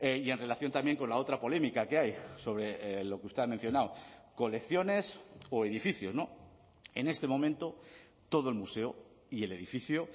y en relación también con la otra polémica que hay sobre lo que usted ha mencionado colecciones o edificios en este momento todo el museo y el edificio